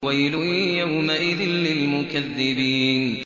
وَيْلٌ يَوْمَئِذٍ لِّلْمُكَذِّبِينَ